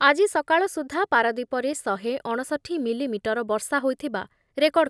ଆଜି ସକାଳ ସୁଦ୍ଧା ପାରାଦ୍ଵୀପରେ ଶହେ ଅଣଷଠି ମିଲିମିଟର ବର୍ଷା ହୋଇଥିବା ରେକର୍ଡ଼